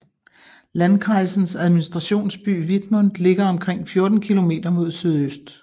Landkreisens administrationsby Wittmund ligger omkring 14 kilometer mod sydøst